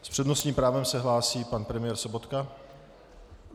S přednostním právem se hlásí pan premiér Sobotka.